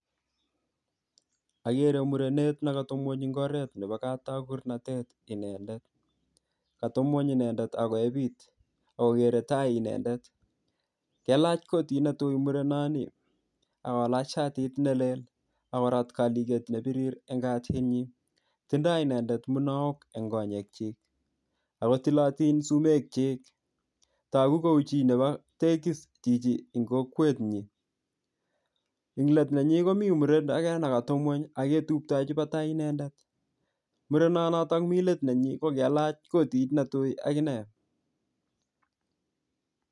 Agere murenet nekatepngwony eng oret nebo katagurnatet inendet. Katepngwony inendet ak koep it ak kogere tai inendet. Kelach kotit netui murenoni ak kolach siatit nelel ak korat kadichet ne birir eng katyinyi. Tindoi inendet munaok eng konyekyik ago tilotin sumekyik. Tagu kou chinebo tegis chichi eng kokwetnyin. Englet nenyi komi muren age negatepngwony ak ketuitachi batai inendet. Murenonoto mi let nenyi ko kailach kotit netui ak inne.